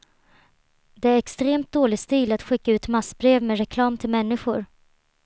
Det är extremt dålig stil att skicka ut massbrev med reklam till människor.